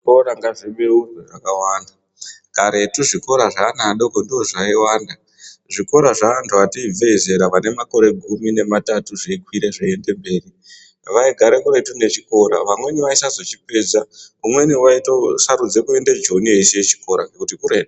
Zvikora ngazvibeurwe zvakawanda, karetu zvikora zveana adoko ndozvaiwanda zvikora zveantu ati ibvei zera anemakore gumi nematatu zveikwira zveiende mberi vaigara kuretu nechikora, vamweni vasaizochipedza umweni waitosarudza kuende Joni eisiya chikora ngekuti kuretu.